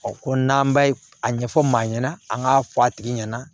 ko n'an b'a a ɲɛfɔ maa ɲɛna an k'a fɔ a tigi ɲɛna